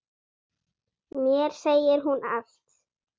Mér segir hún allt